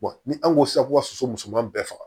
ni an ko ko sago ka soso musoman bɛɛ faga